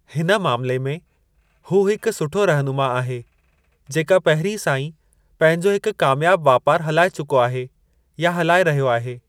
हिन मामले में हू हिकु सुठो रहनुमा आहे जेका पहिरीं सां ई पंहिंजो हिकु कामयाबु वापारु हलाए चुको आहे या हलाए रहियो आहे।